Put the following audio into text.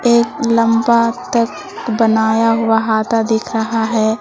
एक लंबा तक बनाया हुआ हाता दिख रहा है।